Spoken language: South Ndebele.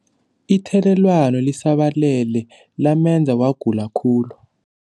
Ithelelwano lisabalele lamenza wagula khulu.